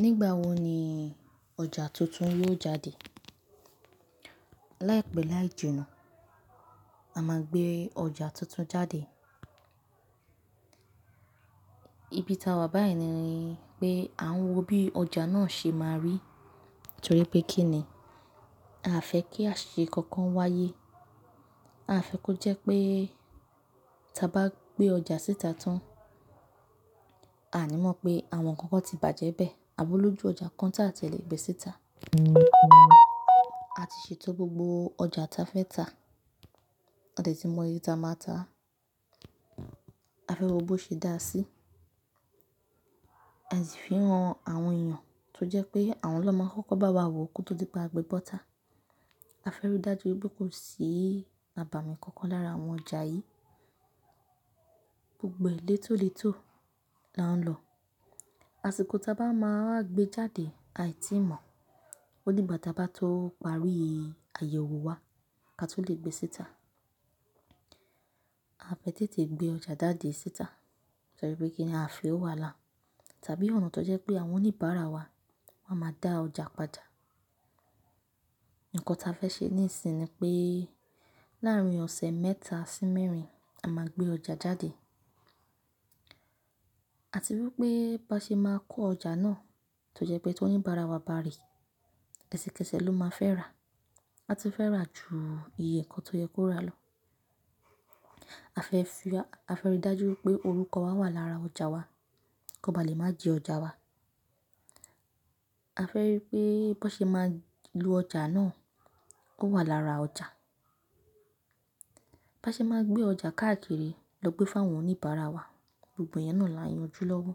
Nígbà wo ni ọjà tuntun yóò jáde? Láìpẹ́ láì jina, a máa gbé ọjà tuntun jáde. Ibi ta wà báyìí ni pé à ń wo bí ọjà náà ṣe máa rí, torí pé kí ni? A fẹ́ kí àṣìkò kan wáyé. A fẹ́ kó jẹ́ pé tí a bá gbé ọjà síta tán, a ní mọ̀ pé àwọn ǹkan kan ti bàjẹ́ bẹ́ẹ̀. Àbí olọ́jú ọjà kan ta tí a lè gbé síta. A ti ṣe etó gbogbo ọjà ta fẹ́ ta. Ade tí mọ iyé ta máa ta. A fẹ́ wo bó ṣe dáa sí. A sì fíràn àwọn èèyàn tó jẹ́ pé àwọn ló máa ń kọ́ko bá wa wò kóto dí pé a gbé bọ́ta. A fẹ́ rí dájú wípé kò sí abàmì kankan lára àwọn ọjà yìí. Gbogbo è lé tó le tó là ń lọ. Àṣìkò ta bá máa wa gbé jáde, aì tí mọ̀. Ó dí ìgbà ta bá tó parí àyẹ̀wò wa ká tó lè gbé síta. A fẹ́ tètè gbé ọjà jáde síta torí pé kí ni a fẹ́ wà la? Tàbí ọ̀nà tó jẹ́ pé àwọn oníbàárà wa máa ma dá ọjà padà. Ǹkan ta fẹ́ ṣe níìsín ni pé láàárín ọ̀sẹ̀ mẹ́ta sí mẹ́rin, a máa gbé ọjà jáde. A ti wípé bá ṣe máa kó ọjà náà, tó jẹ́ pé tí oníbàárà wa bá ríi, ẹsẹ̀kẹsẹ̀ ló máa fẹ́ rà. A tun fẹ́ rà ju ìyẹ̀ nkọ́ tó yẹ kó rà lọ. A fẹ́ rí dájú wípé orúkọ wa wà lára ọjà wa, kó ba lè má ji ọjà wa. A fẹ́ rí pé bó ṣe máa lu ọjà náà, ó wà lára ọjà. Bá ṣe máa gbé ọjà káàkiri lọ gbé fún àwọn oníbàárà wa, gbogbo iyẹn náà là ń yanjú lọ́wọ́.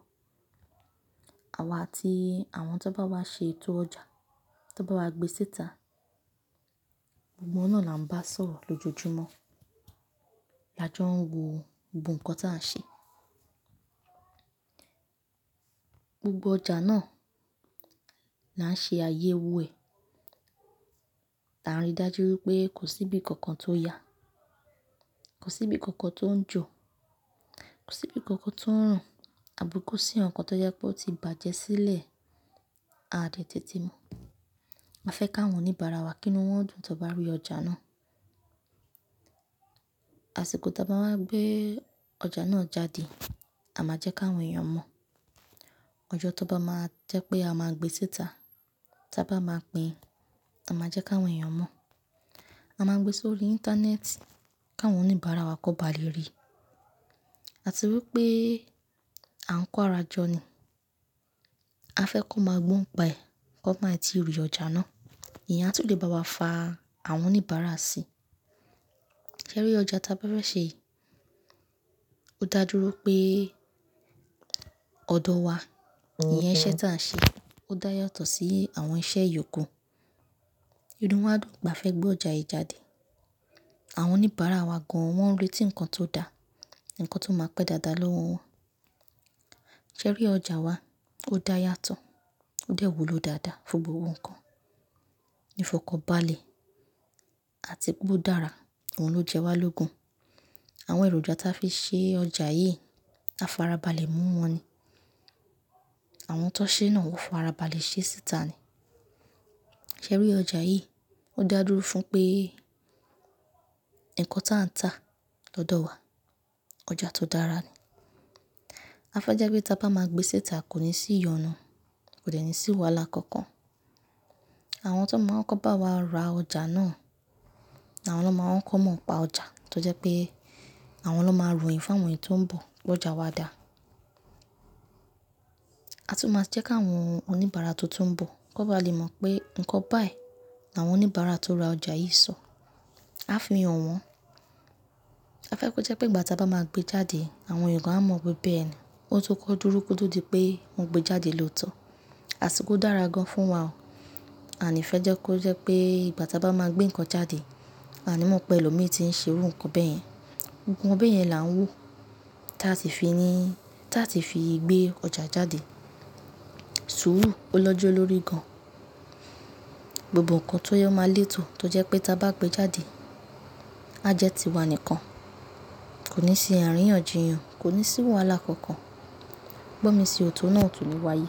Àwa àti àwọn tó bá wá ṣe ètò ọjà, tó bá wá gbé síta, gbogbo wọn náà là ń bá sọ̀rọ̀ lójoojúmọ́. La jọ ń wo gbogbo ǹkan ta ń ṣe. Gbogbo ọjà náà là ń ṣe ayẹ́wò ẹ̀. Ta rí dájú wípé kò sí bí kankan tó ya, kò sí bí kankan tó ń jò, kò sí bí kankan tó ń rùn, àbí kò sí ǹkan tó jẹ́ pé ó ti bàjẹ́ sílẹ̀. A dẹ̀ tètè mọ̀. A fẹ́ káwọn oníbàárà wa kínu wọ́n dùn tó bá rí ọjà náà. Àṣìkọ́ ta bá máa gbé ọjà náà jáde, a máa jẹ́ ki áwọn èèyàn mọ̀. Ọjọ́ tó bá máa jẹ́ pé a máa gbé síta, tí a bá máa pín, a máa jẹ́ ki áwọn èèyàn mọ̀. A máa gbé sórí internet ki áwọn oníbàárà wa kó ba lè rí. A ti wípé à ń kó ara jọ ni. A fẹ́ kó máa gbóǹ pa ẹ̀, kó máí ti ìr ìọjà náà. Ìyẹn a tó lè bá wa fa àwọn oníbàárà sí. Sẹ́rí ọjà ta bá fẹ̀ ṣe, yìí ó dájúró pé ọ̀dọ̀ wa, ìyẹn iṣẹ́ ta ń ṣe, ó dá yàtọ̀ sí àwọn iṣẹ́ ìyókù. Irú wọn á dùn pe afẹ́ gbé ọjà yìí jáde. Àwọn oníbàárà wa gan an wọn ń retí ǹkan tó da, ǹkan tó máa pẹ́ dáadáa lọ́wọ́ wọn. Sẹ́rí ọjà wa ó dá yàtọ̀, ó dẹ̀ wúlò dáadáa fún gbogbo ǹkan. Ìfọ̀kàn bálè àti pé ó dára, òun ló jẹ́ wa lógun. Àwọn èròjà ta fi ṣe ọjà yìí, a farabalẹ̀ mú wọn ni. Àwọn tó ṣe náà wọ́n farabalẹ̀ ṣe síta ni. Jẹ́rí ọjà yìí ó dájúró fún pé ǹkan ta ń tà lọ́dọ̀ wa, ọjà tó dára ni. A fẹ́ jẹ́ pé tí a bá máa gbé síta, kò ní sí ìyọnu, kò de ní sí wàhálà kankan. Àwọn tó máa ń kọ́ bá wa ra ọjà náà ni àwọn ló máa ń kọ́ mọ̀ nipá ọjà, tó jẹ́ pé àwọn ló máa ròyìn fún àwọn èyan tó ń bọ̀ pé ọjà wa dà. A tún máa jẹ́ káwọn oníbàárà to tun ń bọ̀ kó ba lè mọ̀ pé ǹkan báyìí ni àwọn oníbàárà tó ra ọjà yìí sọ. A fì han wọn. A fẹ́ kó jẹ́ pé ìgbà ta bá máa gbé jáde, àwọn èèyàn gan a mọ̀ wípé beẹ̀ni. Ó tó kọ́ dúró kóto dí pé wọn gbé jáde lóòótọ́. Àṣìkò dára gan fún wa o. And ifẹ́ jẹ́ kó jẹ́ pé ìgbà ta bá máa gbé ǹkan jáde, a ní mọ̀ pé ẹlòmí ti ń ṣe irú ǹkan bẹ́ẹ̀ yẹn. Gbogbo beyen ẹ̀ yẹn là ń wò tó a ti fi gbé ọjà jáde. Sùúrù ó lọ́jọ́ ló rí gan an. Gbogbo ǹkan tó yẹ máa le tò tó jẹ́ pé tí a bá gbé jáde, a jẹ́ ti wa nìkan. Kò ní sí àríyànjiyàn, kò ní sí wàhálà kankan. Gbọ́ mi sí, òtún náà tò ni wáyé.